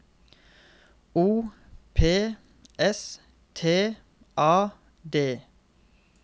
O P S T A D